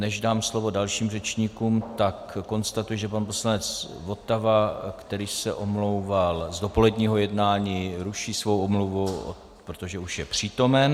Než dám slovo dalším řečníkům, tak konstatuji, že pan poslanec Votava, který se omlouval z dopoledního jednání, ruší svou omluvu, protože už je přítomen.